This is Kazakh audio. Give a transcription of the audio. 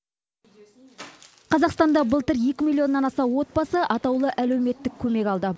қазақстанда былтыр екі миллионнан аса отбасы атаулы әлеуметтік көмек алды